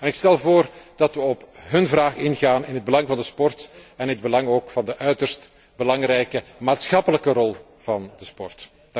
Ik stel voor dat we op hun vraag ingaan in het belang van de sport en in het belang ook van de uiterst belangrijke maatschappelijke rol van de sport.